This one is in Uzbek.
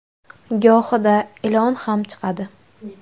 Gohida ilon ham chiqadi.